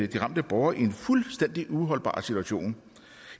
de ramte borgere i en fuldstændig uholdbar situation